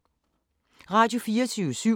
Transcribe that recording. Radio24syv